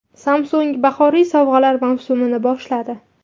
Samsung bahoriy sovg‘alar mavsumini boshladi.